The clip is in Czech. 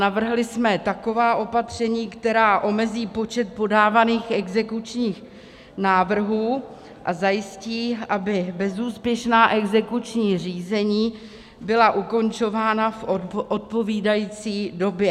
Navrhli jsme taková opatření, která omezí počet podávaných exekučních návrhů a zajistí, aby bezúspěšná exekuční řízení byla ukončována v odpovídající době.